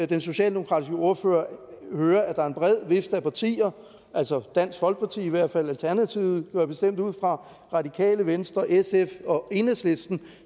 den socialdemokratiske ordfører høre at der er en bred vifte af partier altså i hvert fald alternativet går jeg bestemt ud fra radikale venstre sf og enhedslisten